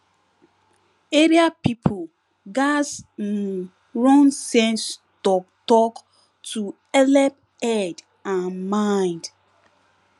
area people gatz um run sense talktalk to helep head and mind